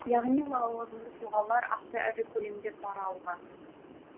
яғни лауазымды тұлғалар аса ірі көлемде пара алған